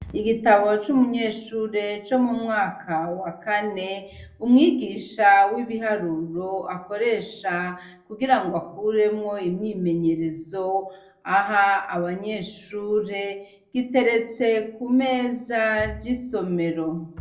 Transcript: Igitabo c'umunyeshure co mu mwaka wa kane umwigisha w'ibiharuro akoresha kugira ngo akuremwo imyimenyerezo aha abanyeshure giteretse ku meza j'isomero.